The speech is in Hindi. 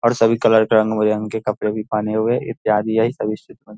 और सभी कलर के रंग बिरंगे कपड़े भी पहने हुए इत्यादि यही --